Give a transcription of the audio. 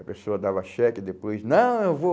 A pessoa dava cheque e depois, não, eu vou,